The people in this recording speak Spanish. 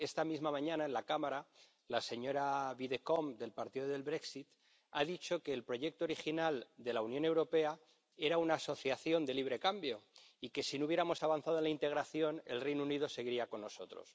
Esta misma mañana, en la Cámara, la señora Widdecombe, del partido del Brexit, ha dicho que el proyecto original de la Unión Europea era una asociación de libre cambio y que, si no hubiéramos avanzado en la integración, el Reino Unido seguiría con nosotros.